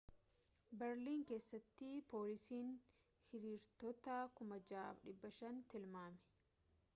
beerlin keessatti poolisiin hiriirtota 6,500 tilmaame